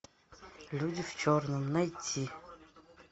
люди в черном найти